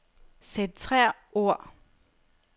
Centrer ord.